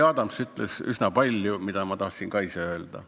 Jüri Adams ütles üsna palju sellist, mida ma tahtsin ka ise öelda.